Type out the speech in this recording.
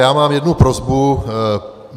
Já mám jednu prosbu.